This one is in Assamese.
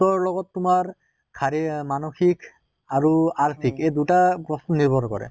তৰ লগত তোমাৰ শাৰী মানসিক আৰু আৰ্থিক এই দুটা বস্তু নিৰ্ভৰ কৰে।